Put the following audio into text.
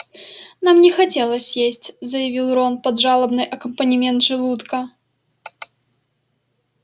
нам не хотелось есть заявил рон под жалобный аккомпанемент желудка